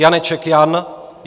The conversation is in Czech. Janeček Jan